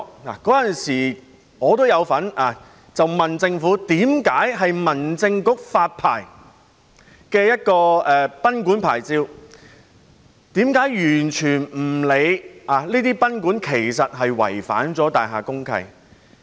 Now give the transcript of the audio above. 我當時也有詢問政府，民政事務局為何會向這些賓館發出牌照，卻完全不理會這些賓館已違反大廈公契？